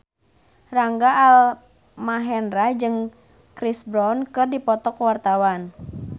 Rangga Almahendra jeung Chris Brown keur dipoto ku wartawan